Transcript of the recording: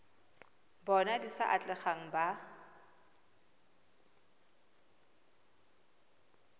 bona di sa atlegang ba